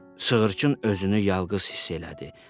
Sığırçın özünü yalqız hiss elədi